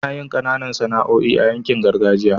anayin Kananan Sana'oi a yankin gargajiya